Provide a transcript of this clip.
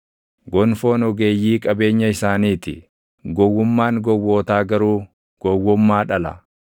Gonfoon ogeeyyii qabeenya isaanii ti; gowwummaan gowwootaa garuu gowwummaa dhala.